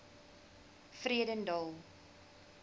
vredendal